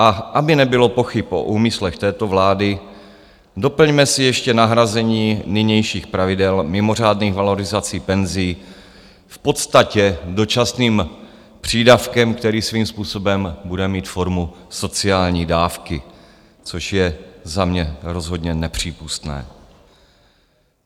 A aby nebylo pochyb o úmyslech této vlády, doplňme si ještě nahrazení nynějších pravidel mimořádných valorizací penzí v podstatě dočasným přídavkem, který svým způsobem bude mít formu sociální dávky, což je za mě rozhodně nepřípustné.